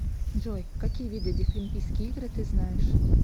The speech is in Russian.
джой какие виды дефлимпийские игры ты знаешь